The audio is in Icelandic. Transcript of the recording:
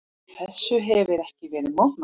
Þessu hefir ekki verið mótmælt.